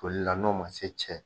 toli la n'o man se cɛ